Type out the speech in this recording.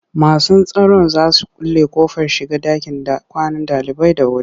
Masu tsaron za su kulle ƙofar shiga ɗakin kwanan ɗalibai da wuri.